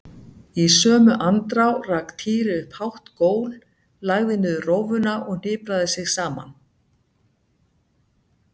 Í sömu andrá rak Týri upp hátt gól, lagði niður rófuna og hnipraði sig saman.